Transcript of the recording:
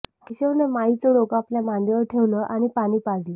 केशवने माईचं डोकं आपल्या मांडीवर ठेवलं आणि पाणी पाजलं